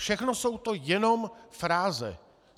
Všechno to jsou jenom fráze.